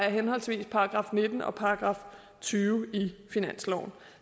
i henholdsvis § nitten og § tyve i finansloven